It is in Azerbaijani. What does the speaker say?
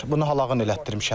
Bunu halağın elətdirmişəm.